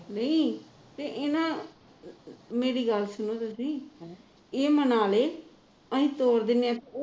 ਨਹੀ ਤੇ ਇਹਨਾਂ ਮੇਰੀ ਗੱਲ ਸੁਣੋ ਤੁਸੀ ਇਹ ਮੰਨਾ ਲੇ ਅਸੀ ਤੋਰ ਦਿੰਦੇ ਹਾਂ